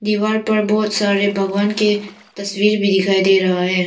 दीवार पर बहुत सारे भगवान के तस्वीर भी दिखाई दे रहा है।